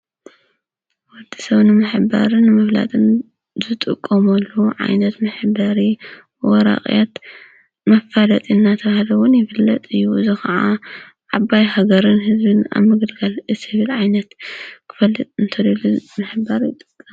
ወድሰብ ንምሕባርን ንምፍላጥን ዝጥቀመሉ ዓይነት መሕበሪ ወረቀት መፋለጢ እናተብሃለ እውን ይፍለጥ እዩ። እዚ ካዓ ዓባይ ሃገርን ህዝብን ኣብ ምግልጋል ዝብል ዓይነት ክፈልጥ እንተደልዩ ንምሕባር ይጠቅም።